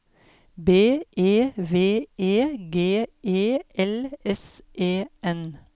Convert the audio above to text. B E V E G E L S E N